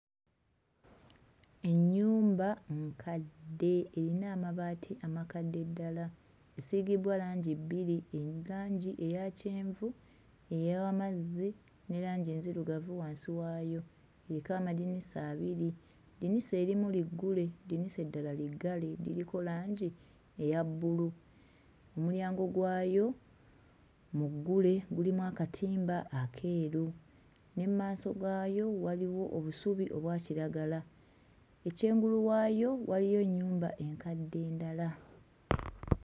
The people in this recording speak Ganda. Ennyumba nkadde eyina amabaati amakadde ddala, esiigibbwa langi bbiri, langi eya kyenvu ey'amazzi ne langi enzirugavu wansi waayo, eriko amadinisa abiri, eddinisa erimu liggule eddinisa eddala liggale liriko langi erya bbulu, omulyango gwayo muggule, gulimu akatimba akeeru ne mmaaso gaayo waliwo obusubi obwa kiragala, eky'engulu waayo waliyo nnyumba enkadde endala.